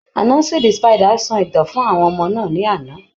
Anasi the spider sọ ìtàn fún àwọn ọmọ náà ní àná.